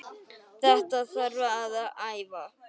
Þetta þarf að æfa.